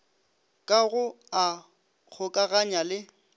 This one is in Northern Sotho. ka go a kgokaganya le